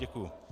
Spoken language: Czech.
Děkuji.